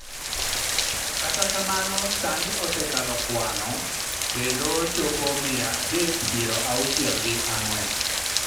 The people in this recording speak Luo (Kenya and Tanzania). kata kamano sani osekalo kwa no kendo chopo mia adek piero auchiel gi ang'wen